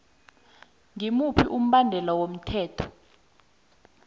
ngimuphi umbandela womthetho